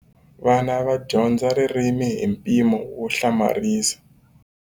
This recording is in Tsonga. Vana va dyondza ririmi hi mpimo wo hlamarisa.